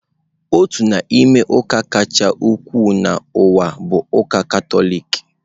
Otu n'ime ụka kacha ukwuu n'ụwa bụ ụka Katọlik.